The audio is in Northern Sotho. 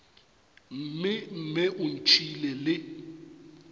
mme mme o ntšhiile le